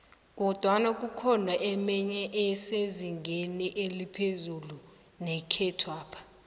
kodwana kukhona emenye esezingeni eliphezu nekhethwapha